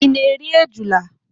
Ị na-eri ejula?